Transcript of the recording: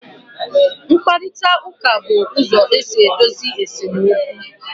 Nkparịta ụka bụ ụzọ esi edozi esemokwu